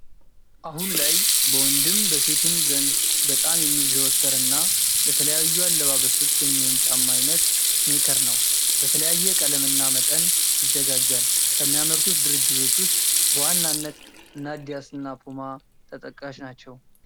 አሁን ላይ በወንድም በሴትም ዘንድ በጣም የሚዘወተር እና ለተለያዩ አለባበሶች የሚሆን ጫማ አይነት ስኔከር ነው። በተለያየ ቀለም እና መጠን ይዘጋጃል። ከሚያመርቱት ድርጅቶች ውስጥ በዋናነት እነ አዲዳስ እና ፑማ ተጠቃሽ ናቸው።